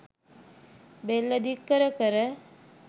බෙල්ල දික් කර කර